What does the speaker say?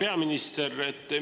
Hea peaminister!